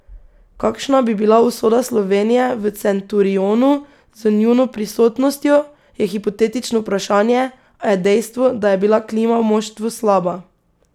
Kakšna bi bila usoda Slovenije v Centurionu z njuno prisotnostjo, je hipotetično vprašanje, a je dejstvo, da je bila klima v moštvu slaba.